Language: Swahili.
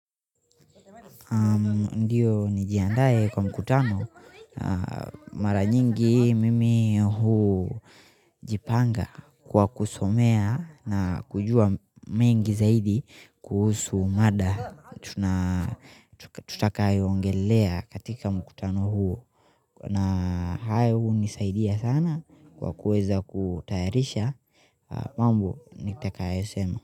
Ndiyo nijiandae kwa mkutano mara nyingi mimi hujipanga kwa kusomea na kujua mengi zaidi kuhusu mada tutaka yongelea katika mkutano huu na hayo hunisaidia sana kwa kuweza kutayarisha mambo nitakayosema.